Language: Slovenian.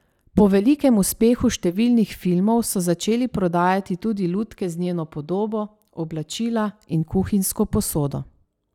Po velikem uspehu številnih filmov so začeli prodajati tudi lutke z njeno podobo, oblačila in kuhinjsko posodo.